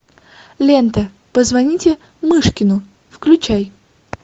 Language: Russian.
лента позвоните мышкину включай